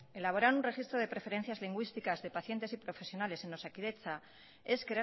elaborar un registro de preferencias lingüísticas de pacientes y profesionales en osakidetza es